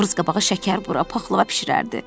Novruz qabağı şəkərburra, paxlava bişirərdi.